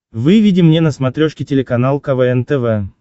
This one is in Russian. выведи мне на смотрешке телеканал квн тв